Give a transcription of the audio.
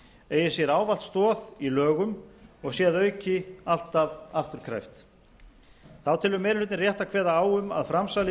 eigi sér ávallt stoð í lögum og sé að auki alltaf afturkræft þá telur meiri hlutinn rétt að kveða á um að framsalið